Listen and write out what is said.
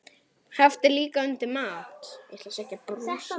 Haft er líka undir mat.